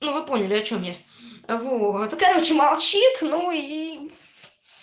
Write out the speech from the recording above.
ну вы поняли о чем я вот ну короче молчит ну и